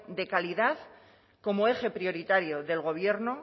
de calidad como eje prioritario del gobierno